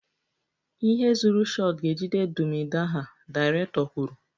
The zuru shot ga-ejide dum idaha, director kwuru